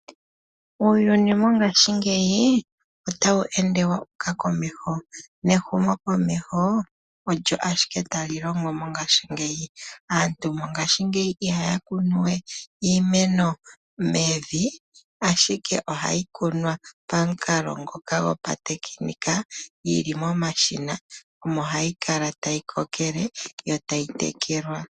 Uuyuni mongaashi ngeyi otawu ende wa uka komeho. Nehumo komeho olyo ashike talilongo mongashingeyi. Aantu mongashingeyi ihaya kunu we iimeno mevi, ashike ohayi kunwa pamukalo ngoka gopatekinika yili momashina omo hayi kala tayi kokele yotayi tekelwa.